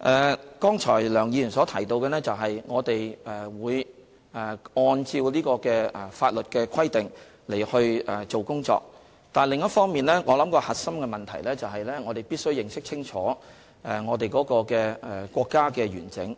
梁議員剛才提到，我們會按照法律的規定來工作，但另一方面，我想核心問題是，我們必須認識清楚國家的完整，